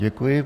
Děkuji.